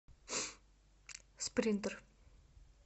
спринтер